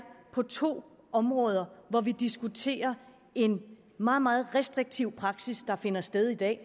på to områder hvor vi diskuterer en meget meget restriktiv praksis der finder sted i dag